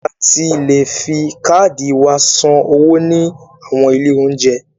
A ti le fi káàdì wa san owó ní àwọn ilé óúnjẹ.